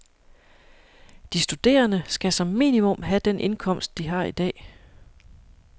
De studerende skal som minimum have den indkomst, de har i dag.